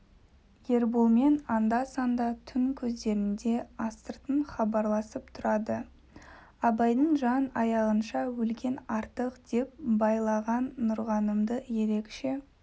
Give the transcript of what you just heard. ерболмен анда-санда түн кездерінде астыртын хабарласып тұрады абайдан жан аяғанша өлген артық деп байлаған нұрғанымды ерекше